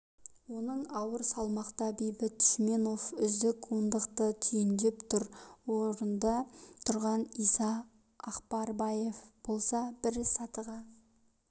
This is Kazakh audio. жартылай ауыр салмақта бейбіт шүменов үздік ондықты түйіндеп тұр орында тұрған иса ақбербаев болса бір сатыға